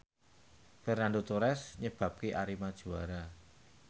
Fernando Torres nyebabke Arema juara